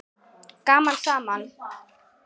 Gaman saman.